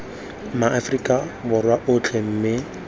ma aforika borwa otlhe mme